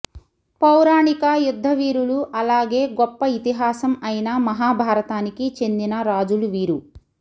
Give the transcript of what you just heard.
పౌరాణిక యుద్ద వీరులు అలాగే గొప్ప ఇతిహాసం అయిన మహాభారతానికి చెందిన రాజులు వీరు